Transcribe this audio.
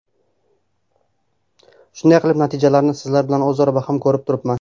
Shunday qilib, natijamni sizlar bilan o‘zaro baham ko‘rib turibman.